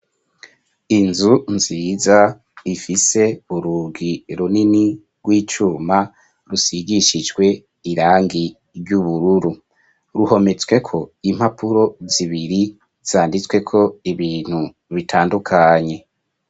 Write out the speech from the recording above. Inzu nziza ifise burugi runini rw'icuma rusigishijwe irangi ry'ubururu ruhometsweko impapuro zibiri zanditsweko ibintu bitandukanye.